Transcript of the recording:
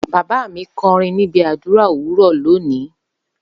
Baba mi nkorin nibi adura owuro loni.